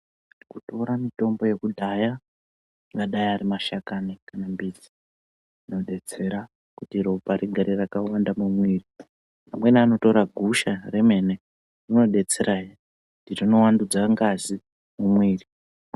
Kutora mitombo yakudhaya angadai arimashakani kanambidzi inobetsera kuti ropa rigare rakawanda mumwiri. Amweni anotira gusha remene rinobetserahe rinovandudza ngazi mumwiri.